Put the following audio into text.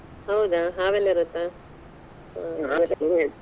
ಹೌದಾ ಹಾವೆಲ್ಲ ಇರುತ್ತಾ? .